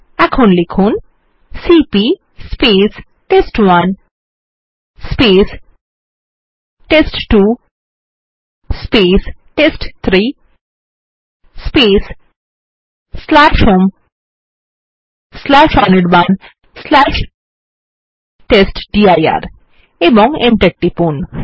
এখন লিখুন CP test one test two test three home Anirban test dir এবং Enter টিপুন